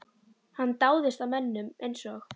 Hann dáðist að mönnum eins og